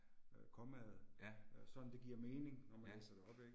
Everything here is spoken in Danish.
Øh, kommaet, øh sådan det giver mening når man læser det op ik